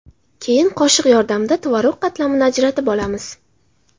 Keyin qoshiq yordamida tvorog qatlamini ajratib olamiz.